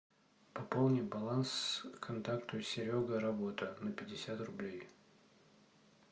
пополни баланс контакту серега работа на пятьдесят рублей